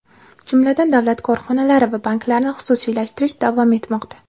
jumladan davlat korxonalari va banklarni xususiylashtirish davom etmoqda.